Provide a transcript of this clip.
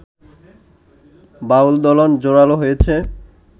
বাউলদলন জোরালো হয়েছে